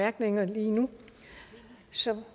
som